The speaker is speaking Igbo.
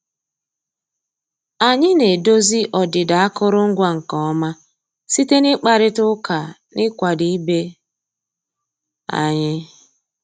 Ànyị́ ná-èdòzí ọ́dị́dà àkụ́rụngwa nkè ọ́má síté ná ị́kpàrị́tá ụ́ká ná ị́kwàdó ìbé ànyị́.